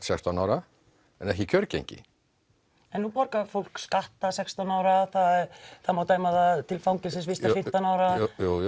sextán ára en ekki kjörgengi en núna borgar fólk skatta er sextán ára það má dæma það til fangelsisvistar fimmtán ára